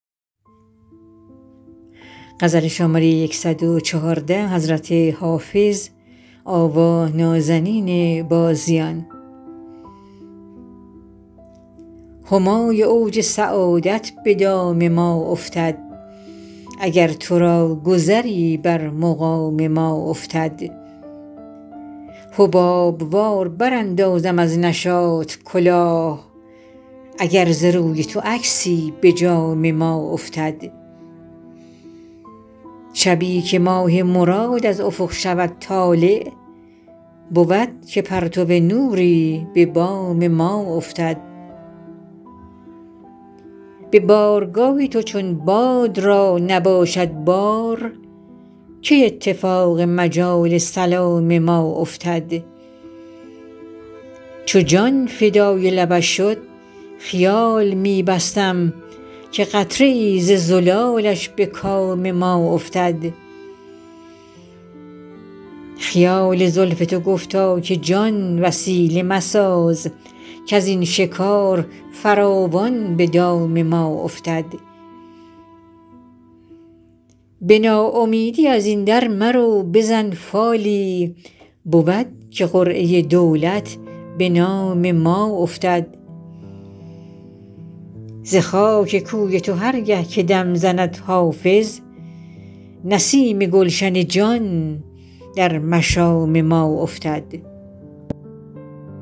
همای اوج سعادت به دام ما افتد اگر تو را گذری بر مقام ما افتد حباب وار براندازم از نشاط کلاه اگر ز روی تو عکسی به جام ما افتد شبی که ماه مراد از افق شود طالع بود که پرتو نوری به بام ما افتد به بارگاه تو چون باد را نباشد بار کی اتفاق مجال سلام ما افتد چو جان فدای لبش شد خیال می بستم که قطره ای ز زلالش به کام ما افتد خیال زلف تو گفتا که جان وسیله مساز کز این شکار فراوان به دام ما افتد به ناامیدی از این در مرو بزن فالی بود که قرعه دولت به نام ما افتد ز خاک کوی تو هر گه که دم زند حافظ نسیم گلشن جان در مشام ما افتد